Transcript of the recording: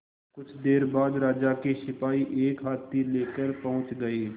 कुछ देर बाद राजा के सिपाही एक हाथी लेकर पहुंच गए